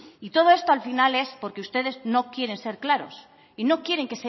y todo esto al final es porque ustedes no quieren ser claros y no quieren